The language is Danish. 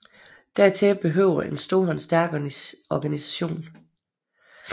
Dertil behøvedes en stor og stærk organisation